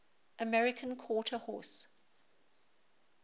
american quarter horse